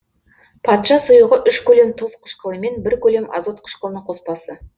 патша сұйығы үш көлем тұз қышқылымен бір көлем азот қышқылының коспасы